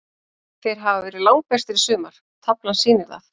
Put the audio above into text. Þeir hafa verið langbestir í sumar, taflan sýnir það.